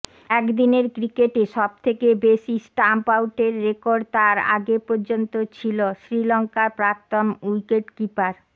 একদিনের ক্রিকেটে সবথেকে বেশি স্টাম্প আউটের রেকর্ড তার আগে পর্যন্ত ছিল শ্রীলঙ্কার প্রাক্তন উইকেটকিপার